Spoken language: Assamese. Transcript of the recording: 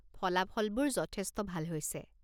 ফলাফলবোৰ যথেষ্ট ভাল হৈছে।